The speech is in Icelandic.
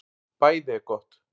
BÆÐI ER GOTT